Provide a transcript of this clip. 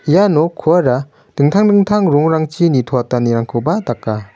ia nokkora dingtang dingtang rongrangchi nitoatanirangkoba daka.